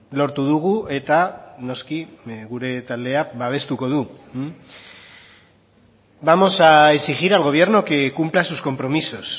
lortu dugu eta noski gure taldeak babestuko du vamos a exigir al gobierno que cumpla sus compromisos